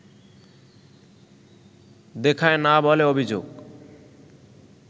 দেখায় না বলে অভিযোগ